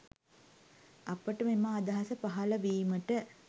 අපට මෙම අදහස පහල වීමට